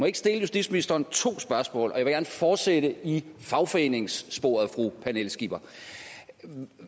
ikke stille justitsministeren to spørgsmål og jeg fortsætte i fagforeningssporet fru pernille skipper